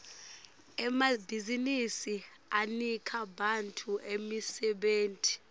emabhizinsi anika bantfu imisebenti